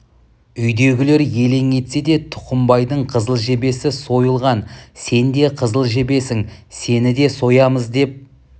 үйдегілер елең етсе де тұқымбайдың қызыл жебесі сойылған сен де қызыл жебесің сені де соямыз деп